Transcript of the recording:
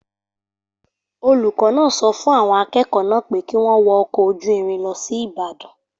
Olùkọ́ náà sọ fún àwọn akẹ́kọ̀ọ́ náà pé kí wọ́n wọ ọkọ̀ ojú irin lọ sí Ìbàdàn.